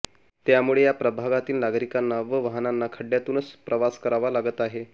त्यामुळे या प्रभागातील नागरिकांना व वाहनांना खड्डयातूनच प्रवास करावा लागत आहे